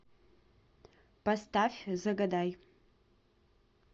поставь загадай